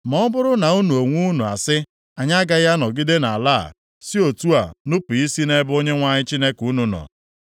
“Ma ọ bụrụ na unu onwe unu asị, ‘Anyị agaghị anọgide nʼala a,’ si otu a nupu isi nʼebe Onyenwe anyị Chineke unu nọ;